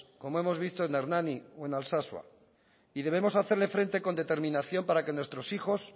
como hemos visto en hernani o en alsasua y debemos hacerle frente con determinación para que nuestros hijos